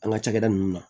An ka cakɛda nunnu na